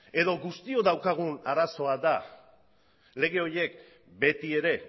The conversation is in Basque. edo guztiok daukagun arazoa da lege horiek beti ere